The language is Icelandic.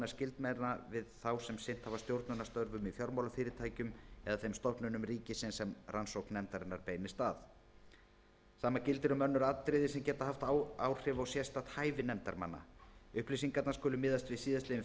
skyldmenna þeirra við þá sem sinnt hafa stjórnunarstörfum í fjármálafyrirtækjunum eða þeim stofnunum ríkisins sem rannsókn nefndarinnar beinist að sama gildir um önnur atriði sem geta haft áhrif á sérstakt hæfi nefndarmanna upplýsingarnar skulu miðast við síðastliðin